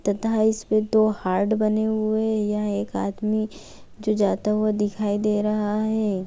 तथा इस पे दो हार्ट बने हुए है। यह एक आदमी जो जाता हुआ दिखाई दे रहा है।